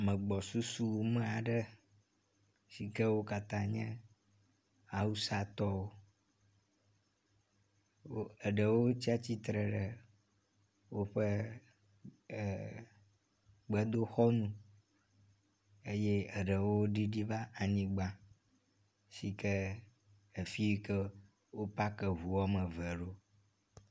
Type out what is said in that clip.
Ame gbɔsusu me aɖe sike wo katã nye awusatɔwo, eɖewo tsatsitre ɖe woƒe gbedoxɔ nu eye eɖewo ɖiɖi va anyigba si kea fi yi ke wopak eŋu woame eve ɖo.